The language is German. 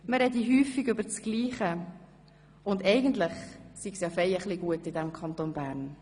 Man spreche häufig über das Gleiche und eigentlich sei es ziemlich gut im Kanton Bern.